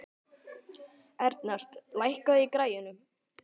Ernest, lækkaðu í græjunum.